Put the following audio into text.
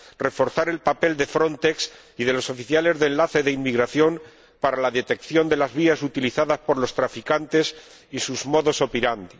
reforzar el papel de Frontex y de los funcionarios de enlace de inmigración para la detección de las vías utilizadas por los traficantes y sus modus operandi